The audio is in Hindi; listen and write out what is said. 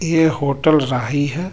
यह होटल राही हैं.